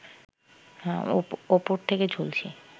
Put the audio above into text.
ওপর থেকে ঝুলছি